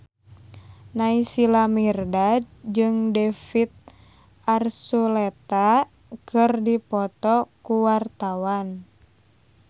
Naysila Mirdad jeung David Archuletta keur dipoto ku wartawan